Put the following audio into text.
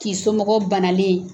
K'i somɔgɔw banalen ye.